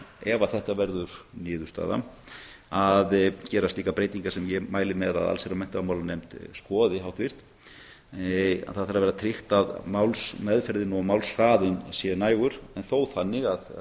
ef þetta verður niðurstaðan þarf þannig að gera slíkar breytingar sem ég mæli með að háttvirt allsherjar og menntamálanefnd skoði það þarf að vera tryggt að málsmeðferð og hraði sé nægur en þó þannig að